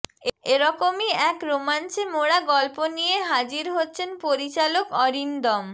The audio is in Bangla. এরকমই এক রোমাঞ্চে মোড়া গল্প নিয়ে হাজির হচ্ছেন পরিচালক অরিন্দম